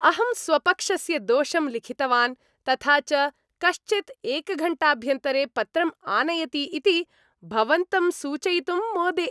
अहं स्वपक्षस्य दोषं लिखितवान् तथा च कश्चित् एकघण्टाभ्यन्तरे पत्रं आनयति इति भवन्तं सूचयितुं मोदे।